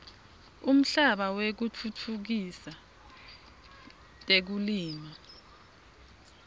umhlaba wekutfutfukisa tekulima